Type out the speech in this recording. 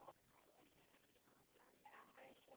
Já, hæ Sóri.